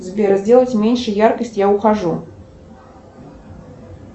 сбер сделать меньше яркость я ухожу